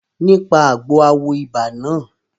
Nípa àgbo a wo ibà náà